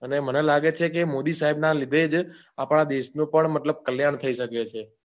અને મને લાગે છે મોદી સાહેબ ના લીધે જ આપણા દેશનું પણ મતલબ કલ્યાણ થઈ શકે છે.